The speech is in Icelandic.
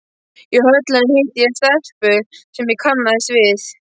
Í Höllinni hitti ég stelpu sem ég kannaðist við.